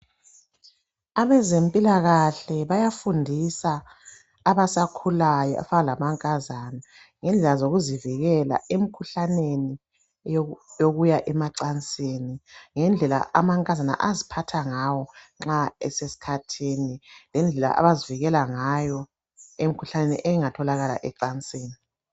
Abezempilakahle bayafundisa abasakhulayo abafana lamankazana ngendaba zokuzivikela emkhuhlaneni yokuya emacansini, ngendlela amankazana aziphatha ngawo nxa esesikhathini lendlela abazivikela ngayo ngemikhuhlane engatholakala ecansini.